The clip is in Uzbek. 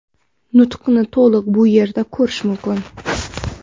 Nutqni to‘liq bu yerda ko‘rish mumkin.